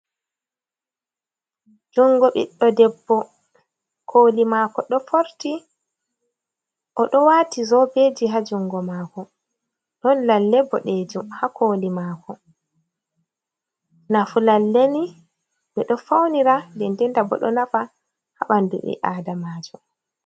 Jungo ɓiɗdo debbo koli mako ɗo forti o ɗo wati zobeji ha jungo mako ɗon lalle boɗejum ha koli mako, nafu lalleni ɓeɗo faunira dendenta bo ɗo nafa ha ɓandu ɓi adama ji.